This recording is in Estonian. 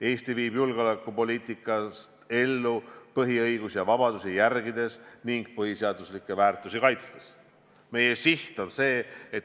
Eesti viib oma julgeolekupoliitikat ellu inimeste põhiõigusi ja -vabadusi järgides ning põhiseaduslikke väärtusi kaitstes.